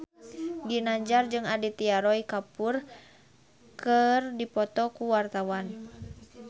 Ginanjar jeung Aditya Roy Kapoor keur dipoto ku wartawan